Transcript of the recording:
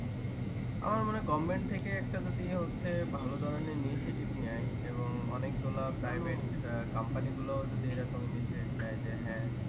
আমার মনে হয় government থেকে একটা যদি ইয়ে হচ্ছে ভালো ধরণের Initiative নেয় এবং অনেক গুলা private company গুলাও যদি এ রকম initiative নেয় যে হ্যা।